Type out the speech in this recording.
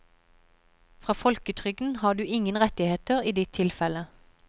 Fra folketrygden har du ingen rettigheter i ditt tilfelle.